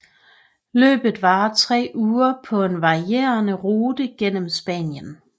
Løbet varer tre uger på en varierende rute gennem Spanien